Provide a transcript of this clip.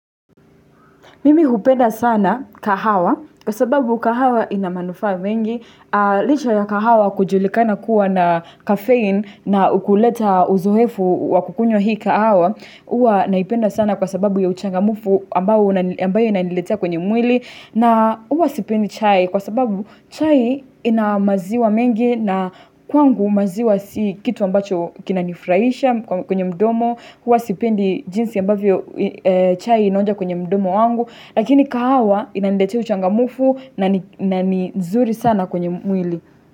Mimi hupenda sana kahawa kwa sababu kahawa ina manufaa mengi, licha ya kahawa kujulikana kuwa na kafein na hukuletea uzoefu wa kukunywa hii kahawa huwa naipenda sana kwa sababu ya uchangamfu ambayo inaniletea kwenye mwili na huwa sipendi chai kwa sababu chai ina maziwa mengi na kwangu maziwa si kitu ambacho kinanifurahisha kwenye mdomo, huwa sipendi jinsi ambavyo chai inaonja kwenye mdomo wangu lakini kahawa inaniletea uchangamfu na ni zuri sana kwenye mwili.